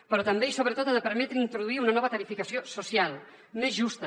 però també i sobretot ha de permetre introduir una nova tarifació social més justa